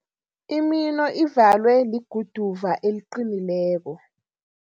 Imino ivalwe liguduva eliqinileko.